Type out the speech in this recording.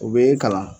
U bɛ kalan